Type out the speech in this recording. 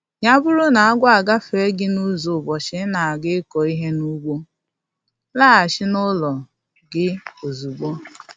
Ya bụrụ n'agwọ agafee gị n'ụzọ ụbọchị ị na-aga ịkụ ihe n'ugbo, laghachi n'ụlọ gị ozugbo